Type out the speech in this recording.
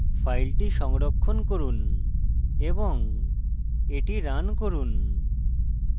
file সংরক্ষণ করুন এবং এটি রান করুন